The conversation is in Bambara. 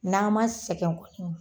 N'an ma sɛgɛn kun